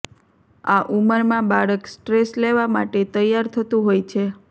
આ ઉંમરમાં બાળક સ્ટ્રેસ લેવા માટે તૈયાર થતું હોય છે